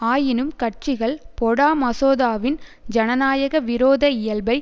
ஆயினும் கட்சிகள் பொடா மசோதாவின் ஜனநாயக விரோத இயல்பை